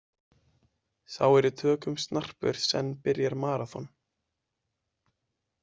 Sá er í tökum snarpur senn byrjar maraþon.